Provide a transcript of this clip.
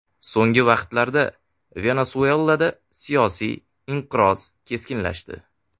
So‘nggi vaqtlarda Venesuelada siyosiy inqiroz keskinlashdi.